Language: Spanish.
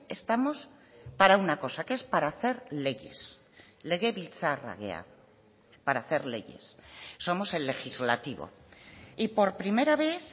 estamos para una cosa que es para hacer leyes legebiltzarra gara para hacer leyes somos el legislativo y por primera vez